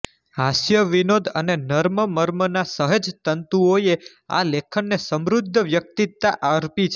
હાસ્યવિનોદ અને નર્મમર્મના સહજ તંતુઓએ આ લેખનને સમૃદ્ધ વ્યક્તિતા અર્પી છે